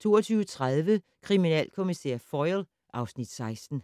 22:30: Kriminalkommissær Foyle (Afs. 16)